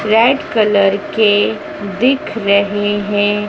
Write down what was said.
Red colour के दिख रहे है।